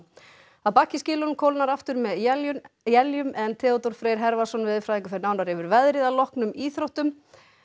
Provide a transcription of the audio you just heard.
að baki skilunum kólnar aftur með éljum éljum en Theodór Freyr veðurfræðingur fer nánar yfir veðrið að loknum íþróttum